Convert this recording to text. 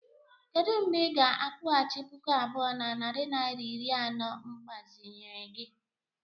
Kedu mgbe ị ga-akwụghachi puku abụọ na narị naịra iri anọ mgbazinyere gi?